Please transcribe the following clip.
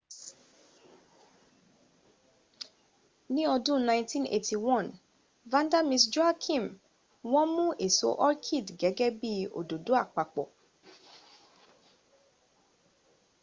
ní ọdún 1981,vanda miss joaquim wọ́n mún èso orchid gẹ́gẹ́ bí i òdòdó àpapọ̀